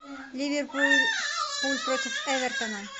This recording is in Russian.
ливерпуль против эвертона